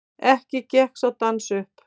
Ekki gekk sá dans upp.